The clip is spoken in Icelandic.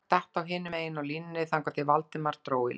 Þögn datt á hinum megin á línunni þangað til Valdimar dró í land